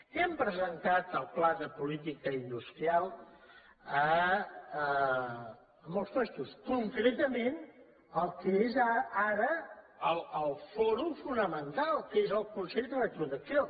hem presentat el pla de política industrial a molts llocs concretament al que és ara el fòrum fonamen·tal que és el consell rector d’acc1ó